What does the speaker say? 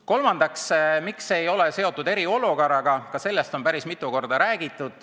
Kolmandaks, miks see ei ole seotud eriolukorraga – ka sellest on päris mitu korda räägitud.